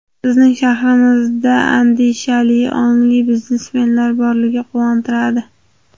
Bizning shahrimizda andishali, ongli biznesmenlar borligi quvontiradi.